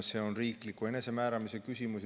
See on riikliku enesemääramise küsimus.